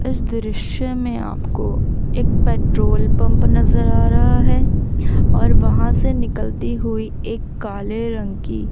इस दृश्य में आपको एक पेट्रोल पंप नजर आ रहा है और वहां से निकलती हुई एक काले रंग की--